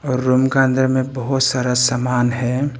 और रूम का अंदर में बहुत सारा सामान है।